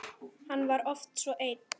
Hann var oft svo einn.